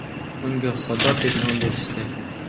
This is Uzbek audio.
Unga Xodor deb nom berishdi .